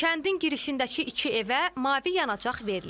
Kəndin girişindəki iki evə mavi yanacaq verilib.